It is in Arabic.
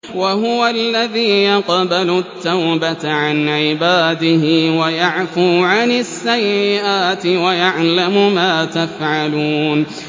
وَهُوَ الَّذِي يَقْبَلُ التَّوْبَةَ عَنْ عِبَادِهِ وَيَعْفُو عَنِ السَّيِّئَاتِ وَيَعْلَمُ مَا تَفْعَلُونَ